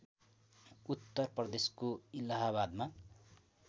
उत्तर प्रदेशको इलाहाबादमा